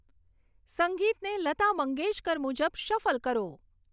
સંગીતને લતા મંગેશકર મુજબ શફલ કરો